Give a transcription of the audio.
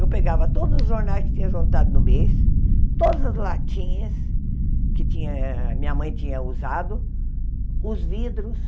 Eu pegava todos os jornais que tinha juntado no mês, todas as latinhas que tinha minha mãe tinha usado, os vidros,